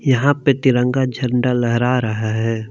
यहां पे तिरंगा झंडा लहरा रहा है।